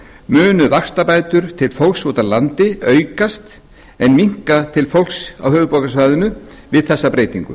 munu vaxtabætur til fólks úti á landi aukast en minnka til fólks á höfuðborgarsvæðinu við þessa breytingu